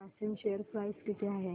Grasim share price किती आहे